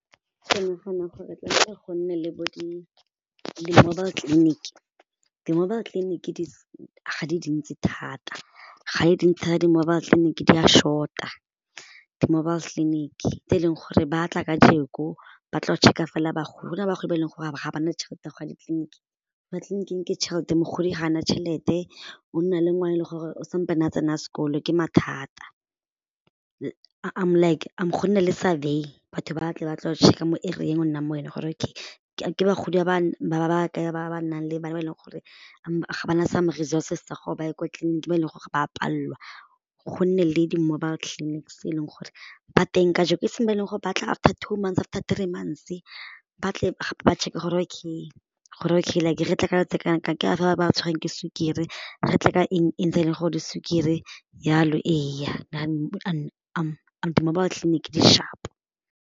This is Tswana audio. Ke nagana gore bo di-mobile clinic, di-mobile clinic ga di dintsi thata ga di dintsi thata di-mobile tleliniki di a short-a di-mobile clinic tse e leng gore ba tla ka ba tlo check-a fela bagolo, go na le bagolo ba e leng gore ga ba na tšhelete ya gore ba ye kwa di tleliniking, ke tšhelete mogodi ga a na tšhelete o nna le ngwana yo e leng gore o sampane a tsena sekolo ke mathata like go nne survey batho ba tle ba tlo go check-a mo area-eng o nnang mo yone gore okay ke bagodi ba ba kae ba ba nang le bana ba e leng gore ga ba na some resources tsa gore ba ye kwa tleliniking ba e leng gore ba a palelwa go nne le di-mobile clinics tse e leng gore ba teng ka e seng gore batla after two months after three months ba tle ba checker gore okay gore okay re tle ka batho ba e leng gore ba tshwerwe ke sukiri re tle ka eng e ntsha e leng gore di sukiri jalo ee di-mobile tleliniki di sharp-o.